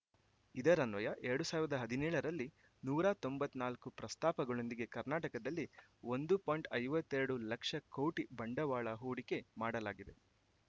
ಇದರನ್ವಯ ಎರಡು ಸಾವಿರದ ಹದಿನೇಳರಲ್ಲಿ ನೂರ ತೊಂಬತ್ತ್ ನಾಲ್ಕು ಪ್ರಸ್ತಾಪಗಳೊಂದಿಗೆ ಕರ್ನಾಟಕದಲ್ಲಿ ಒಂದು ಪಾಯಿಂಟ್ ಐವತ್ತೆರಡು ಲಕ್ಷ ಕೋಟಿ ಬಂಡವಾಳ ಹೂಡಿಕೆ ಮಾಡಲಾಗಿದೆ